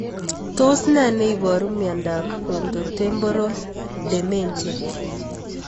Tos nee neiparu miondop Frontotemporal dementia?